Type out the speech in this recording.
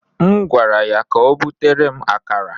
M gwara ya ka o butere m akara.